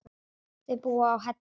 Þau búa á Hellu.